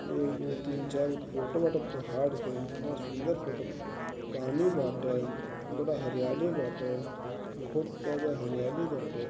एगो तीन चार गो फोटो बाटे पहाड़ के कितना सुन्दर फोटो पानी बाटे बड़ा हरियाली बाटे बहुत जयादा हरियाली बाटे।